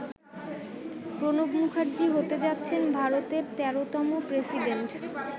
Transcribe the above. প্রণব মুখার্জি হতে যাচ্ছেন ভারতের ১৩তম প্রেসিডেন্ট।